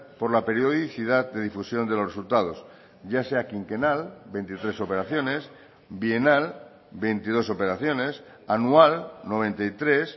por la periodicidad de difusión de los resultados ya sea quinquenal veintitrés operaciones bienal veintidós operaciones anual noventa y tres